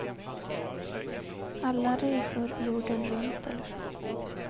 Alla resor jorden runt eller så.